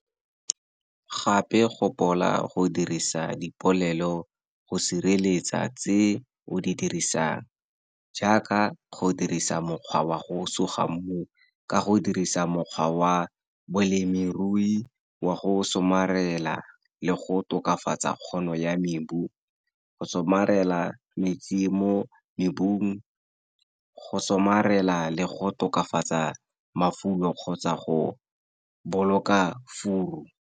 Gape gopola go dirisa dipoelo go sireletsa tse o di dirisang, jaaka go dirisa mokgwa wa go suga mmu ka go dirisa mokgwa wa bolemirui wa go somarela le go tokafatsa kgono ya mebu, go somarela metsi mo mebung, go somarela le go tokafatsa mafulo kgotsa go boloka furu.